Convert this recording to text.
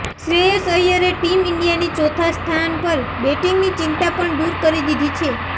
શ્રેયસ અય્યરે ટીમ ઈન્ડિયાની ચોથા સ્થાન પર બેટિંગની ચિંતા પણ દૂર કરી દીધી છે